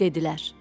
Dedilər: